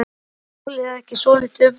Snýst málið ekki svolítið um það?